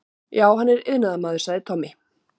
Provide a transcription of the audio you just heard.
Já, hann er iðnaðarmaður, sagði Tommi.